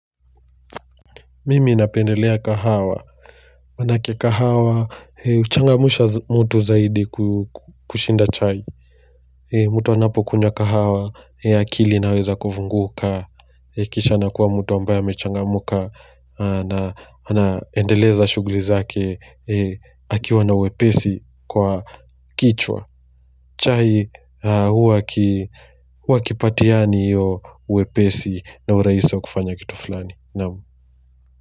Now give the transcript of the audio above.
Mimi napendelea kahawa, manake kahawa, huchangamsha mtu zaidi kushinda chai mtu anapo kunywa kahawa, akili inaweza kufunguka, kisha anakuwa mtu ambaye amechangamka na na endeleza shughuli zake, akiwa na wepesi kwa kichwa chai, huwa hakipatiani iyo wepesi na urahisi wa kufanya kitu fulani naam.